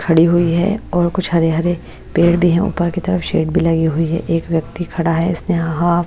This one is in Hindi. खड़ी हुई है और कुछ हरे-हरे पेड़ भी हैं ऊपर की तरफ शेड भी लगी हुई है एक व्यक्ति खड़ा है इसने हाँ हाँ--